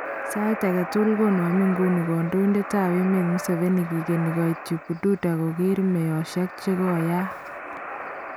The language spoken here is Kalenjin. Sayiit ake tukul konamen inguni kandoindetab emet Museveni kigeni koiit yu Bududa kokeer meyoshek chikoyaak